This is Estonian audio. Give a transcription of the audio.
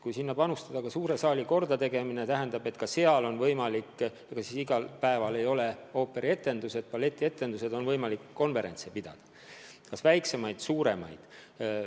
Kui panustada ka suure saali kordategemisse, siis igal päeval ei ole ju ooperietendusi ega balletietendusi ja seal saab ka konverentse pidada, nii väiksemaid kui ka suuremaid.